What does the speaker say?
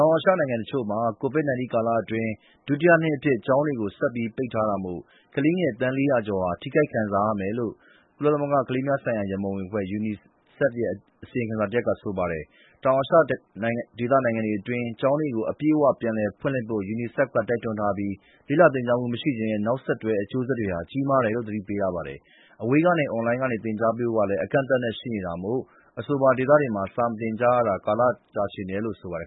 ောင်အာရှနိုင်ငံတချို့မှာ COVID-19 ကာလအတွင်း ဒုတိယနှစ်အဖြစ် ကျောင်းတွေ ဆက်ပြီး ပိတ်ထားတာမို့ ကလေးငယ် သန်း ၄၀၀ ကျော်ဟာ ထိခိုက်ခံစားကြရမယ်လို့ ကမ္ဘာ့ကုလသမဂ္ဂ ကလေးများရန်ပုံငွေအဖွဲ့ (UNICEF) ရဲ့ အစီရင်ခံစာတရပ်က ဆိုပါတယ်။ တောင်အာရှဒေသတွင်း နိုင်ငံတွေက ကျောင်းတွေကို အပြည့်အဝ ပြန်လည်ဖွင့်လှစ်ဖို့ UNICEF က တိုက်တွန်းထားပြီး လေ့လာသင်ကြားမှု မရှိခြင်းရဲ့ နောက်ဆက်တွဲ အကျိုးဆက်တွေဟာ ကြီးမားတယ်လို့ သတိပေးထားပါတယ်။ အဝေးကနေ အွန်လိုင်းနဲ့ သင်ကြားပေးဖို့ကလည်း အကန့်အသတ်နဲ့ ရှိနေတာမို့ အဆိုပါဒေသတွေမှာ စာမသင်ကြားရတာ ကာလတာရှည်နေတယ်လို့ ဆိုပါတယ်